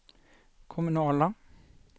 kommunala